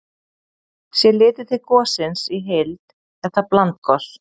Sé litið til gossins í heild er það blandgos.